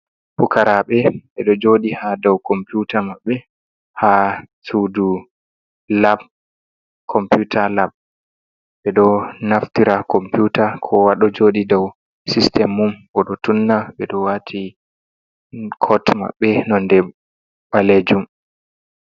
"Pukaraaɓe" ɓeɗo jooɗi ha dou komputa maɓɓe ha sudu lap komputa lap ɓeɗo naftira komputa kowa ɗo jooɗi dou sistim mun ɓeɗo tunna ɓeɗo do waati kot mabbe nonde ɓalejum.